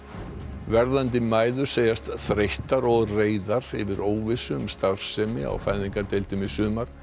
verðandi mæður segjast þreyttar og reiðar yfir óvissu um starfsemi á fæðingardeildum í sumar